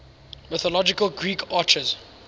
mythological greek archers